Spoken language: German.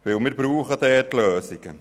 Wir brauchen dort nämlich Lösungen.